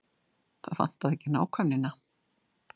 Þar vantaði ekki nákvæmnina.